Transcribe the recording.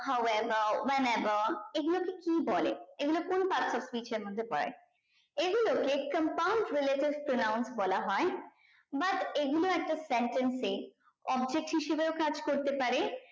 how ever when ever এগুলোকে কি বলে এগুলোর কোন perfect speech এর মধ্যে পরে এগুলোকে compound related pronounce বলা হয় but এগুলো একটা sentence এ object হিসাবেও কাজ করতে পারে